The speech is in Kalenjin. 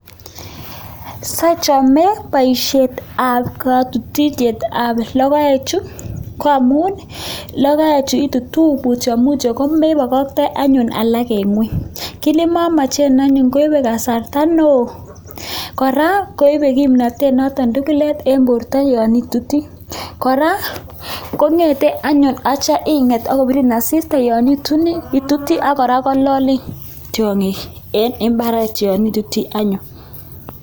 Siachame baishet ab katutishet ab logoek Chu koamun logoek Chu itutu mutyo mutyo komebakatai anyu alak en ngweny kit nemamaen anyu koibe kasarta neon kora koibe kimnatet noton tugulet en borta yanituti kora kongete anyun akitya I get akobirin asista yanituti akora kololin tiongik en imbaret yanituti anyun